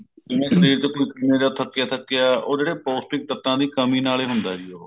ਜਿਵੇਂ ਸ਼ਰੀਰ ਜਿਵੇਂ ਦਾ ਥੱਕਿਆ ਥੱਕਿਆ ਉਹ ਜਿਹੜੇ ਪੋਸਟਿਕ ਤੱਤਾ ਦੀ ਕਮੀ ਨਾਲ ਹੀ ਹੁੰਦਾ ਹੈ ਜੀ ਉਹ